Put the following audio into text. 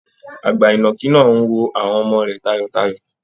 Àgbà ìnàkì náà ń wo àwọn ọmọ rẹ̀ tayọ̀tayọ̀